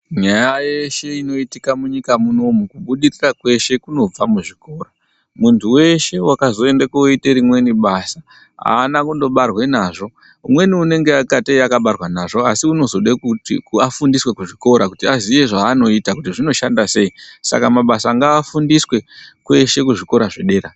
Nyaya yeshe inoitika munyika munomu kubudirira kweshe kunobva muzvikora. Munthu weshe wakazoenda kooite rimweni basa aana kundobarwa nazvo, umweni unengatei wakabarwa nazvo, asi unozoda kuti afundiswe kuzvikora kuti aziye zvaanoita kuti zvinoshanda sei. Saka mabasa ngaafundiswe kweshe kuzvikora zvedera.